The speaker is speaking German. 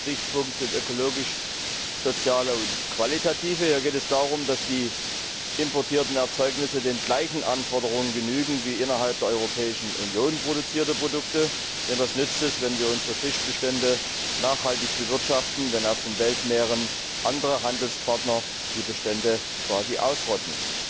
Der erste Gesichtspunkt ist ökologischer, sozialer und qualitativer Natur. Hier geht es darum, dass die importierten Erzeugnisse den gleichen Anforderungen genügen wie innerhalb der Europäischen Union produzierte Produkte, denn was nützt es, wenn wir unsere Fischbestände nachhaltig bewirtschaften, wenn auf den Weltmeeren andere Handelspartner die Bestände quasi ausrotten.